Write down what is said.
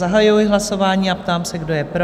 Zahajuji hlasování a ptám se, kdo je pro?